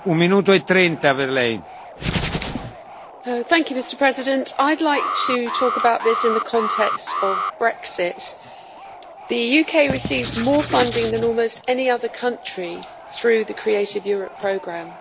Mr President, I would like to talk about this in the context of Brexit. The UK receives more funding than almost any other country through the Creative Europe Programme.